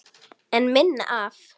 En minna af?